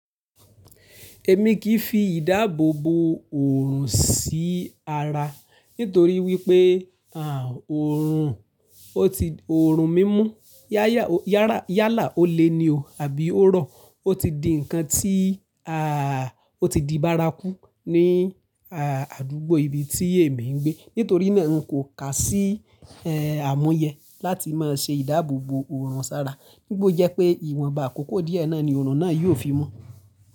Èmi kì í fi ìdáàbòbo òrùn sí ara nítorí wípé à òrùn ó ti òrùn mímú yáyà yárà yálà ó lé ni o àbí ó rọ̀ ó ti di ǹkan tí à ó ti di bárakú ní àdúgbò ibi tí èmi ń gbé. Nítorí náà n kò kà sí àmúyẹ láti má ṣe ìdáàbòbò òrùn sára. Nígba o jẹ́ pé ìwọ̀nba àkókó díẹ̀ náà ni òrùn náà yóò fi mọ́.